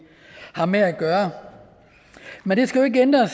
har med at gøre men det skal jo ikke hindre